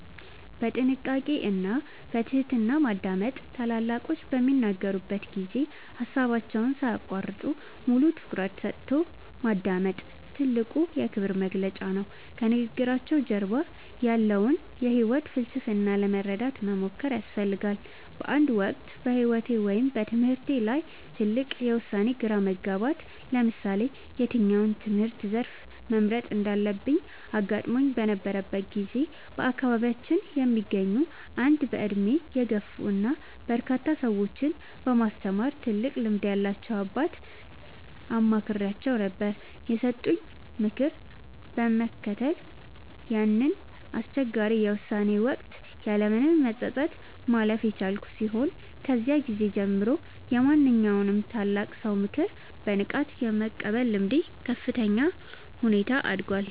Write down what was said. በጥንቃቄ እና በትህትና ማዳመጥ፦ ታላላቆች በሚናገሩበት ጊዜ ሃሳባቸውን ሳይያቋርጡ፣ ሙሉ ትኩረትን ሰጥቶ ማዳመጥ ትልቁ የክብር መግለጫ ነው። ከንግግራቸው ጀርባ ያለውን የህይወት ፍልስፍና ለመረዳት መሞከር ያስፈልጋል። በአንድ ወቅት በህይወቴ ወይም በትምህርቴ ላይ ትልቅ የውሳኔ ግራ መጋባት (ለምሳሌ የትኛውን የትምህርት ዘርፍ መምረጥ እንዳለብኝ) አጋጥሞኝ በነበረበት ጊዜ፣ በአካባቢያችን የሚገኙ አንድ በእድሜ የገፉ እና በርካታ ሰዎችን በማስተማር ትልቅ ልምድ ያላቸውን አባት አማክሬአቸው ነበር። የሰጡኝን ምክር በመከተል ያንን አስቸጋሪ የውሳኔ ወቅት ያለምንም መጸጸት ማለፍ የቻልኩ ሲሆን፣ ከዚያ ጊዜ ጀምሮ የማንኛውንም ታላቅ ሰው ምክር በንቃት የመቀበል ልምዴ በከፍተኛ ሁኔታ አድጓል።